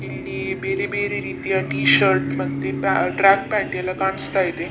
ಇಲ್ಲಿ ಬೇರೆ ಬೇರೆ ರೀತಿಯ ಟಿ ಶರ್ಟ್ ಮತ್ತೆ ಪ ಟ್ರ್ಯಾಕ್ ಪ್ಯಾಂಟ್ ಎಲ್ಲಾ ಕಾಣಿಸ್ತಾ ಇದೆ .